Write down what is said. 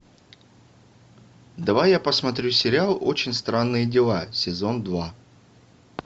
давай я посмотрю сериал очень странные дела сезон два